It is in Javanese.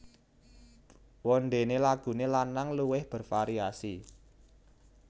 Wondene lagune lanang luwih bervariasi